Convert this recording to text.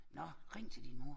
Nå ring til din mor!